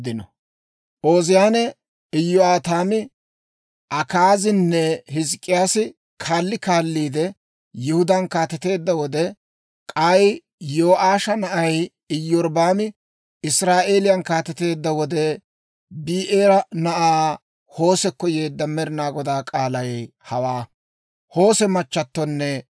Ooziyaane, Iyo'aataami, Akaazinne Hizk'k'iyaasi kaalli kaalliide Yihudaan kaateteedda wode, k'ay Yo'aasha na'ay Iyorbbaami Israa'eeliyaan kaateteedda wode, Bi'eera na'aa Hoosekko yeedda Med'inaa Godaa k'aalay hawaa.